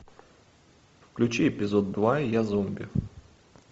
включи эпизод два я зомби